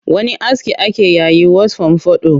Wani aski ake yayi was fomfado